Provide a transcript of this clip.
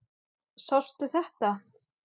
Sástu þetta?